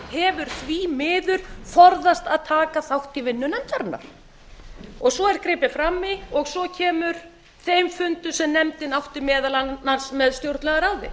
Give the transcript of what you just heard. hefur því miður forðast að taka þátt í vinnu nefndarinnar svo er gripið fram í og svo kemur þeim fundum sem nefndin átti meðal annars með stjórnlagaráði